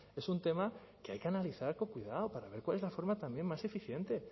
es un tema que hay que analizar con cuidado para ver cuál es la forma también más eficiente